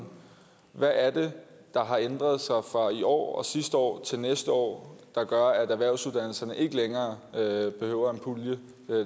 hvad er det der har ændret sig fra i år og sidste år til næste år der gør at erhvervsuddannelserne ikke længere behøver en pulje